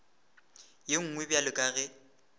ye nngwe bjalo ka ge